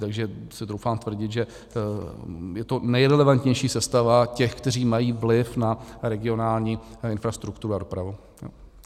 Takže si troufám tvrdit, že je to nejrelevantnější sestava těch, kteří mají vliv na regionální infrastrukturu a dopravu.